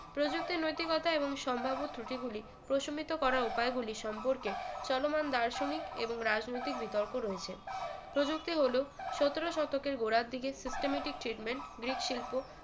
প্রযুক্তি নৈতিকতা এবং সম্ভাব্য ত্রুটিগুলি প্রশমিত করা উপায় গুলি সম্পর্কে চলমান দার্শনিক এবং রাজনৈতিক বিতর্ক রয়েছে প্রযুক্তি হল সতেরো শতকের গোড়ার দিকে systematic statement গ্রিকশিল্প